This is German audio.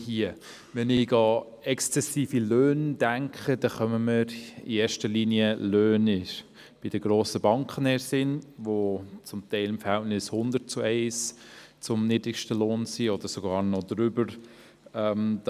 Dazu fallen mir in erster Linie Löhne bei den grossen Banken ein, wo das Verhältnis zwischen den höchsten und niedrigsten Löhnen teils 100 zu 1 oder darüber liegt.